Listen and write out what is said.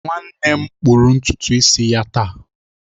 Nwanne m kpụrụ ntutu isi ya taa